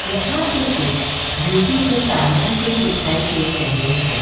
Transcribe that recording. यहां पे कुछ ब्यूटी के सामान भी दिखाई दे रहे है।